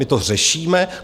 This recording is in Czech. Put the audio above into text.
My to řešíme.